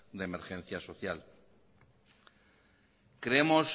de emergencia social creemos